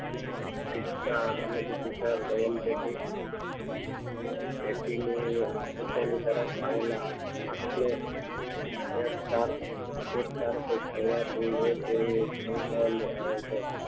શિક્ષા અને તથા સમસ્યા પેટી અને તેકીને તેની સામે આવેલા હાથ ને એક તાણ એક તાણ આવે છે